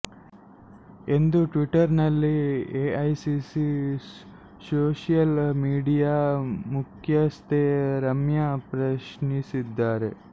ಎಂದು ಟ್ವಿಟ್ಟರ್ ನಲ್ಲಿ AICC social media ಮುಖ್ಯಸ್ಥೆ ರಮ್ಯ ಪ್ರಶ್ನಿಸಿದ್ದಾರೆ